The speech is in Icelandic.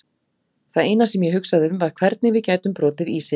Það eina sem ég hugsaði um var hvernig við gætum brotið ísinn.